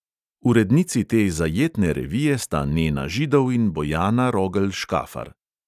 Urednici te zajetne revije sta nena židov in bojana rogelj škafar.